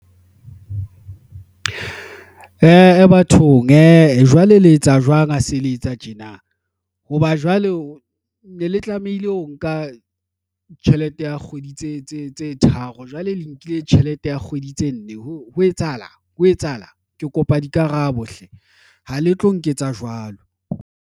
bathong a jwale, le etsa jwang ha se le etsa tjena? Ho ba jwale o ne le tlamehile o nka tjhelete ya kgwedi tse tharo jwale le nkile tjhelete ya kgwedi tse nne. Ho etsahala ho etsahala, ke kopa dikarabo hle ha le tlo nketsa jwalo.